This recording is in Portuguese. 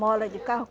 Mola de carro.